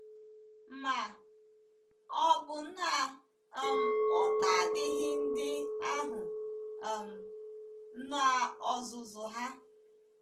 Ma, ọ̀ bụ na um ụta adịghịri ndị ahụ um n’ozuzu ha?